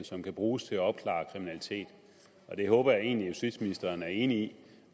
som kan bruges til at opklare kriminalitet det håber jeg egentlig at justitsministeren er enig